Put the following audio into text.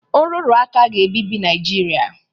Nrụrụ aka ga-ebibi Naịjirịa.